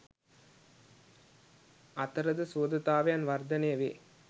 අතරද සුහදතාවයන් වර්ධනය වේ.